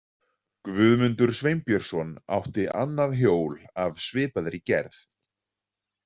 Guðmundur Sveinbjörnsson átti annað hjól af svipaðri gerð.